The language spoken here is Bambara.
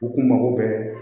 U kun mago bɛ